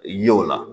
Ye o la